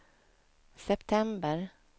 september